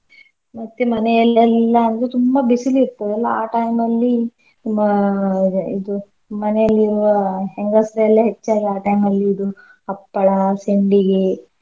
ಮತ್ತೆ ಮನೆಯಲ್ಲೆಲ್ಲ ಅಂದ್ರೆ ತುಂಬಾ ಬಿಸಿಲ್ ಇರ್ತದಲ್ಲ ಆ time ಅಲ್ಲಿ ಮ~ ಇದು ಮನೆಯಲ್ಲಿರುವ ಹೆಂಗಸ್ರೆಲ್ಲ ಹೆಚ್ಚಾಗಿ ಆ time ಅಲ್ಲಿ ಇದು ಹಪ್ಪಳ, ಸೆಂಡಿಗೆ,